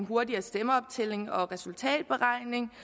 hurtigere stemmeoptælling og resultatberegning